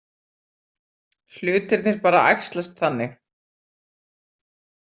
Hlutirnir bara æxlast þannig.